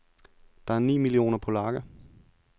Der er ni millioner polakker.